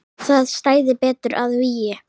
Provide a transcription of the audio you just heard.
Það stæði betur að vígi.